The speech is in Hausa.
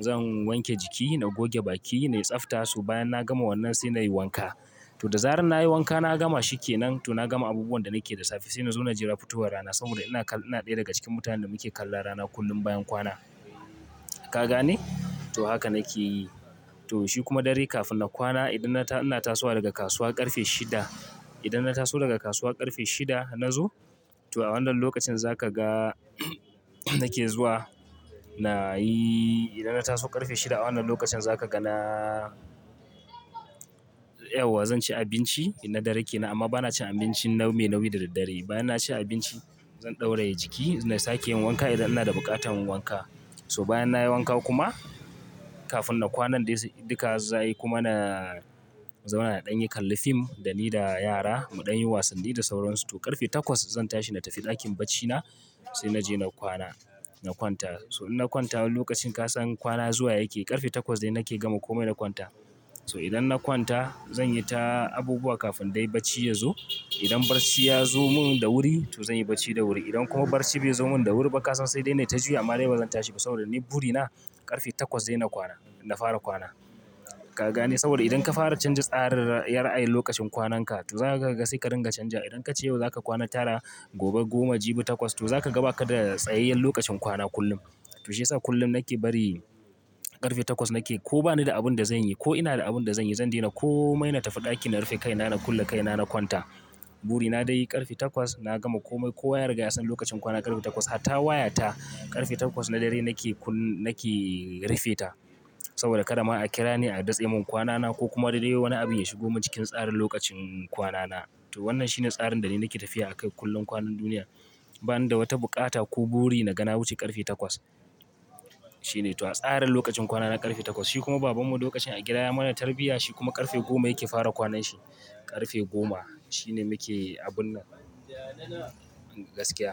zan wanke jiki, na goge baki na, na tsafta su. Bayan na gama wannan sai na yi wanka. To da zarar na yi wanka na gama shi ke nan to na gama abubuwan da nake da safe sai na zo na jira fitowar rana saboda ina ƙalla, ina ɗaya daga cikin mutanen da muke kallan rana kullum bayan kwana. Ka gane? To haka nake yi. To shi kuma dare kafin na kwana idan na ina tasowa daga kasuwa ƙarfe shida, idan na taso daga kasuwa ƙarfe shida na zo, to a wannan lokacin za ka ga nake zuwa na yi idan na taso ƙarfe shida a wannan lokacin za ka ga na yauwa, zan ci abinci na dare kenan amma ba na cin abinci nau me nauyi da daddare. Bayan na ci abinci. Zan ɗauraye jiki na sake yin wanka idan ina da buƙatar wanka. To bayan na yi wanka kuma kafin na kwanan dai duka za ai kuma na zauna na danyi kalli fim dani da yara muɗan yin wasanni da sauran su to ƙarfe takwas zan tashi na tafi ɗakin baccina se naje na kwana, na kwanta. So in na kwanta wani lokacin ka san kwana zuwa yake ƙarfe takwas dai nake gama komai na kwanta. So idan na kwanta zan yi ta abubuwa kafin dai bacci yazo. Idan barci ya zo mun da wuri to zan yi bacci da wuri. Idan kuma barci bai zo mun da wuri ba ka san sai dai nai ta juyi amma dai bazan tashi ba saboda ni buri na ƙarfe takwas dai na kwana, na fara kwana. Ka gane? Saboda idan ka fara canza tsarin ra ay yin lokacin kwanan ka to za ka ga sai ka ringa canja. Idan ka ce yau za ka kwana tara, gobe goma, jibi takwas to za ka ga ba ka da tsayayyen lokacin kwana kullum. To shi ya sa kullum nake bari ƙarfe takwas nake, ko bani da abin da zanyi ko ina da abin da zanyi zan daina komai na tafi ɗakin na rufe kaina, na kulle kaina na kwanta. Buri na dai ƙarfe takwas na gama komai. Ko wa yariga yasan lokacin kwana ƙarfe takwas har ta waya ta ƙarfe takwas na dare nake kun-- nake rufe ta. Saboda kadama a kira ni a datse mun kwanana ko kuma de wani abu ya shigo mun cikin tsarin lokacin kwanana. To wannan shine tsarin da dai nake tafiya akai kullum kwanan duniya. Ba ni da wata buƙata ko bori na ga na wuce ƙarfe takwas. Shi ne. To tsarin lokacin kwana na ƙarfe takwas. Shi kuma baban mu lokacin a gida ya mana tarbiyya shi kuma ƙarfe goma yake fara kwanan shi. Ƙarfe goma shine muke abun nan gaskiya.